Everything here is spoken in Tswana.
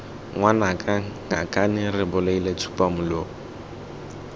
ngwanaka ngakane re bolaile tsupamolomo